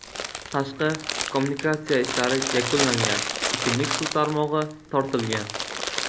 Tashqi kommunikatsiya ishlari yakunlangan, ichimlik suv tarmog‘i tortilgan.